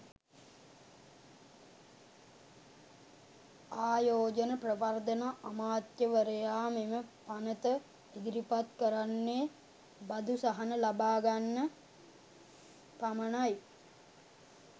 ආයෝජන ප්‍රවර්ධන අමාත්‍යවරයා මෙම පනත ඉදිරිපත් කරන්නේ බදු සහන ලබාගන්න පමණයි.